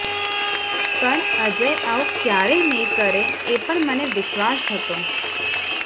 પણ અજય આવું ક્યારેય નહીં કરે એ પણ મને વિશ્વાસ હતો